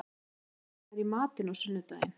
Ægileif, hvað er í matinn á sunnudaginn?